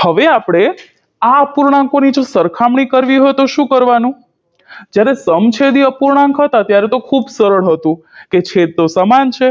હવે આપણે આ અપૂર્ણાંકોની જો સરખામણી કરવી હોય તો શું કરવાનું જ્યારે સમછેદી અપૂર્ણાંક હતા ત્યારે તો ખૂબ સરળ હતું કે છેદ તો સમાન છે